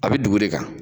A bɛ dugu de kan